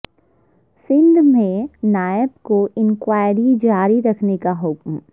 سندھ میں نیب کو انکوائری جاری رکھنے کا حکم